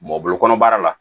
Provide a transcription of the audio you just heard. Mɔ bolo kɔnɔbara la